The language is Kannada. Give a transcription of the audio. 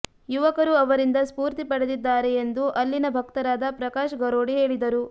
ಯುವಕರು ಅವರಿಂದ ಸ್ಫೂರ್ತಿ ಪಡೆದಿದ್ದಾರೆ ಎಂದು ಅಲ್ಲಿನ ಭಕ್ತರಾದ ಪ್ರಕಾಶ್ ಗರೋಡಿ ಹೇಳಿದರು